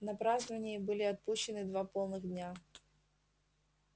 на празднования были отпущены два полных дня